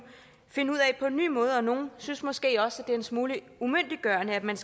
finde ud af på en ny måde og nogle synes måske også at det er en smule umyndiggørende at man